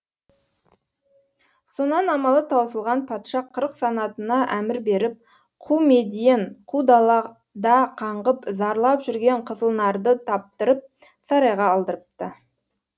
сонан амалы таусылған патша қырық санатына әмір беріп қу медиен қу далада қаңғып зарлап жүрген қызылнарды таптырып сарайға алдырыпты